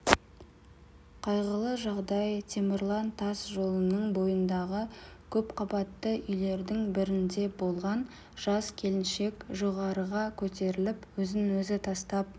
қайғылы жағдай темірлан тас жолының бойындағы көпқабатты үйлердің бірінде болған жас келіншек жоғарыға көтеріліп өзін-өзі тастап